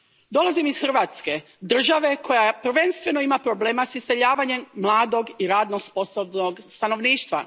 Dolazim iz Hrvatske, države koja prvenstveno ima problema s iseljavanjem mladog i radno sposobnog stanovništva.